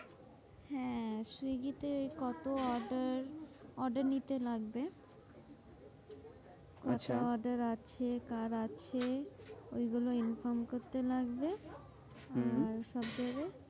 হ্যাঁ সুইগি তে কত order order নিতে লাগবে কত order আছে কার আছে ওই গুলো inform করতে লাগবে হম আর সব জায়গায়